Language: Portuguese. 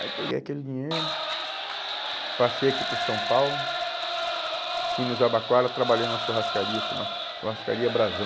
Aí peguei aquele dinheiro, passei aqui por São Paulo, fui no Jabaquara, trabalhei numa churrascaria, chama churrascaria Brasão.